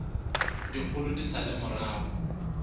dikgolo di sa le morago